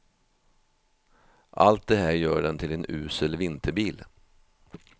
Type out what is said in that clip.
Allt det här gör den till en usel vinterbil.